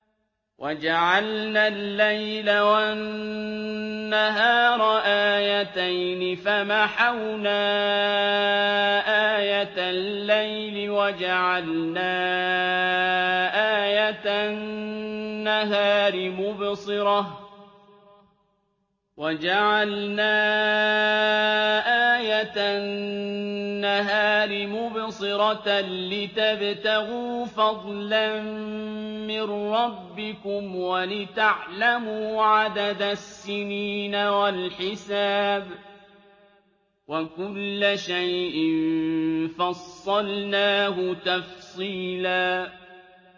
وَجَعَلْنَا اللَّيْلَ وَالنَّهَارَ آيَتَيْنِ ۖ فَمَحَوْنَا آيَةَ اللَّيْلِ وَجَعَلْنَا آيَةَ النَّهَارِ مُبْصِرَةً لِّتَبْتَغُوا فَضْلًا مِّن رَّبِّكُمْ وَلِتَعْلَمُوا عَدَدَ السِّنِينَ وَالْحِسَابَ ۚ وَكُلَّ شَيْءٍ فَصَّلْنَاهُ تَفْصِيلًا